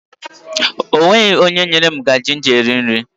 E nweghi onye nyere m ngaji m ji rie nri.